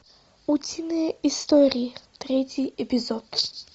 утиные истории третий эпизод